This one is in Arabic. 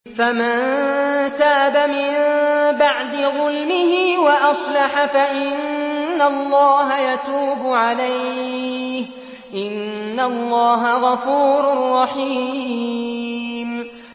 فَمَن تَابَ مِن بَعْدِ ظُلْمِهِ وَأَصْلَحَ فَإِنَّ اللَّهَ يَتُوبُ عَلَيْهِ ۗ إِنَّ اللَّهَ غَفُورٌ رَّحِيمٌ